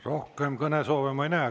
Rohkem kõnesoove ma ei näe.